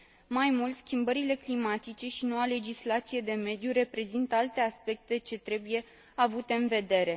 Mai mult, schimbările climatice și noua legislație de mediu reprezintă alte aspecte ce trebuie avute în vedere.